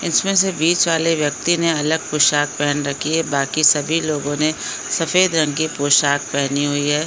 इसमें से बीच बाले व्यक्ति ने अलग पोशाक पहन राखी है बाकी सभी लोगों ने सफेद रंग की पोशाक पहनी हुई है।